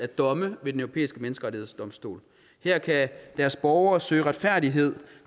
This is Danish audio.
domme ved den europæiske menneskerettighedsdomstol her kan deres borgere søge retfærdighed